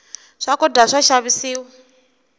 swakudya swa xavisiwa